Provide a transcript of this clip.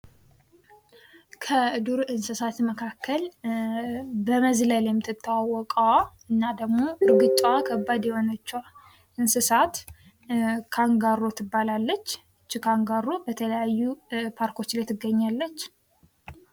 ከዱር እንስሳት መካከል በመዝለል የምትታወቀዋ እና ደግሞ እርግጫዋ ከባድ የሆነችዋ እንስሳት ካንጋሮ ትባላለች ። እቺ ካንጋሮ በተለያዩ ፓርኮች ላይ ትገኛለች።